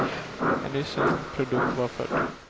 En ny svensk produkt var född.